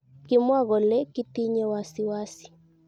Kimwa kole,"kitinye wasiwasi!"